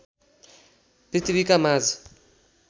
पृथ्वीका माझ